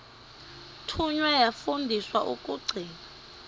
thunywa yafundiswa ukugcina